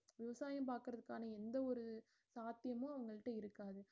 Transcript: விவசாயம் பார்க்கறதுக்கான எந்த ஒரு சாத்தியமும் இருக்காது